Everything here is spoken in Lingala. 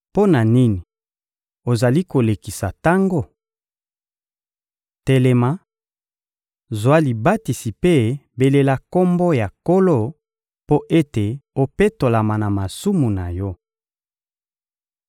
Mpo na nini ozali kolekisa tango? Telema, zwa libatisi mpe belela Kombo ya Nkolo mpo ete opetolama na masumu na yo.»